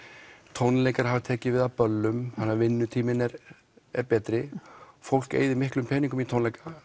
tónleikar hafa tekið við af böllum þannig að vinnutíminn er er betri fólk eyðir miklum peningum í tónleika